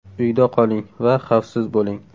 Uyda qoling va xafsiz bo‘ling!